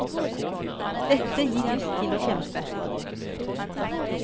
Dette gir lyst til å kjempe.